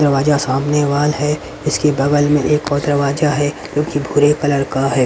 दरवाजा सामने वाल है। इसकी बगल में एक और दरवाजा है जो कि भूरे कलर का है।